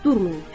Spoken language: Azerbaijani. durmayın.